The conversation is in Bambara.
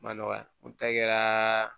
Ma nɔgɔ o ta kɛra